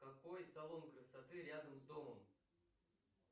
какой салон красоты рядом с домом